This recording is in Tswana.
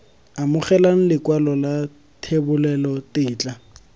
amogela lekwalo la thebolelo tetla